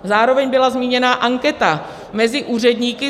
Zároveň byla zmíněna anketa mezi úředníky.